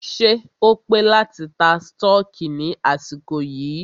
Ṣé o pé láti ta stọọkí ní àsìkò yìí?